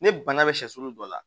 Ne bana bɛ sɛsulu dɔ la